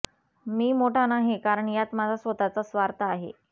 मी मोठा नाही कारण यात माझा स्वतःचा स्वार्थ आहे